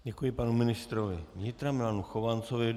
Děkuji panu ministrovi vnitra Milanu Chovancovi.